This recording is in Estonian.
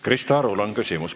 Krista Arul on küsimus.